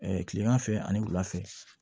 kilema fɛ ani wula fɛ